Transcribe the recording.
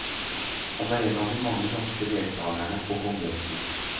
Han er en av de mange norske deltagerne på kongressen.